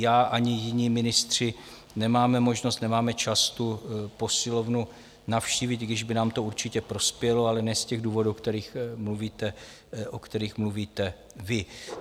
Já ani jiní ministři nemáme možnost, nemáme čas tu posilovnu navštívit, i když by nám to určitě prospělo, ale ne z těch důvodů, o kterých mluvíte vy.